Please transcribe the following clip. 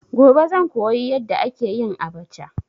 Gobe zan koyi yadda ake yin abacha.